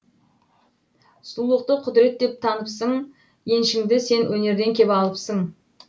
сұлулықты құдірет деп таныпсың еншіңді сен өнерден кеп алыпсың